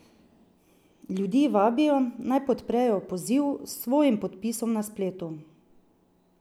Ljudi vabijo, naj podprejo poziv s svojim podpisom na spletu.